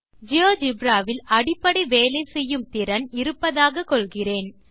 GeoGebra வில் அடிப்படையாக வேலை செய்யும் திறன் இருப்பதாக கொள்கிறேன்